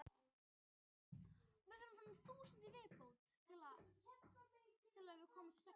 Gunnar Gunnarsson var myndasmiður á Eskifirði og Alfons Finnsson myndaði á Ólafsvík.